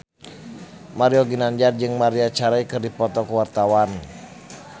Mario Ginanjar jeung Maria Carey keur dipoto ku wartawan